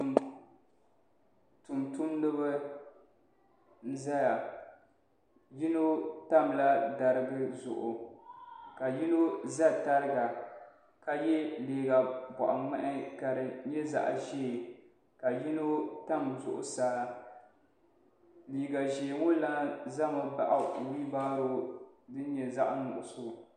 Tuuntumdiba zaya yino tamla dariga zuɣu ka yino za tariga ka ye liiga bɔɣ'ŋmahi ka di nyɛ zaɣ'ʒee ka yino tam zuɣusaa liiga ʒee ŋɔ lana zami baɣi wilibaro din nyɛ zaɣ'nuɣuso.